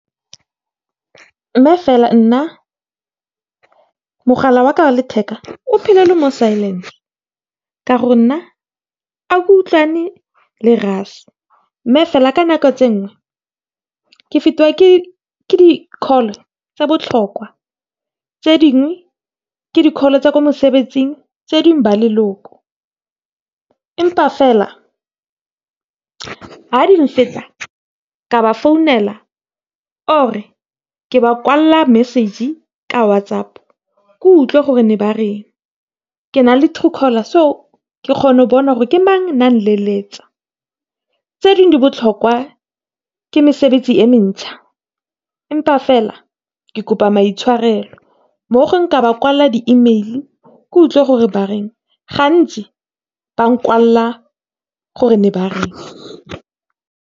Nna fela, nna mogala wa ka wa letheka o phela o le mo silent-e ka gore nna ga ke utlwane le rase. Mme fela ka nako tse dingwe ke fetiwa ke di-call tse di botlhokwa, tse dingwe ke di-call tsa ko mosebetsing, tse dingwe ba leloko. Empa fela ha di , ke a ba founela or ke ba kwalela message-e ka WhatsApp, ke utlwa gore ba reng. Ke na le Truecaller, so ke kgona go bona gore ke mang one a nteletsa. Tse dingwe di botlhokwa ke mesebetsi e mentjha. Empa fela ke kopa maitshwarelo, mo gongwe ke ba kwalela di-email, ke utlwa gore ba reng, gantsi ba nkwalela gore ba reng.